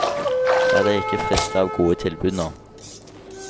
La deg ikke friste av gode tilbud nå.